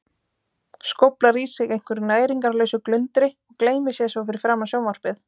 Skóflar í sig einhverju næringarlausu glundri og gleymir sér svo fyrir framan sjónvarpið.